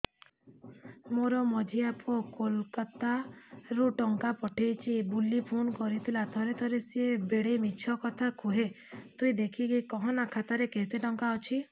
ମୋର ମଝିଆ ପୁଅ କୋଲକତା ରୁ ଟଙ୍କା ପଠେଇଚି ବୁଲି ଫୁନ କରିଥିଲା ଥରେ ଥରେ ସିଏ ବେଡେ ମିଛ କଥା କୁହେ ତୁଇ ଦେଖିକି କହନା ଖାତାରେ କେତ ଟଙ୍କା ଅଛି